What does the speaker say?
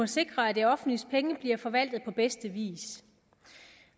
sikre at det offentliges penge bliver forvaltet på bedste vis